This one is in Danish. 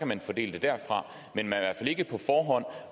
man fordele derfra